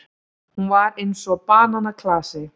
Hún var eins og bananaklasi.